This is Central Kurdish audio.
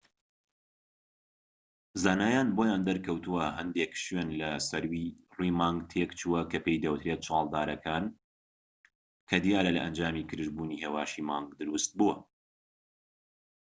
زانایان بۆیان دەرکەوتوە کە هەندێک شوێن لە سەر ڕووی مانگ تێکچووە کە پێی دەوترێت چاڵدارەکان کە دیارە لە ئەنجامی گرژبوونی هێواشی مانگ دروست بووە